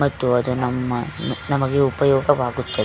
ಮತ್ತು ಅದು ನಮ್ಮ ನಮಗೆ ಉಪಯೋಗವಾಗುತ್ತದೆ.